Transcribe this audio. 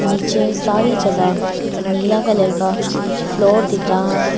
नीचे सारी जगह नीला कलर का फ्लोर दिख रहा हैं।